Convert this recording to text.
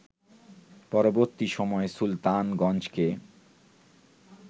পরবর্তী সময়ে সুলতানগঞ্জকে